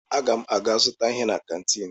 Aga m aga zụta ihe na kantiin.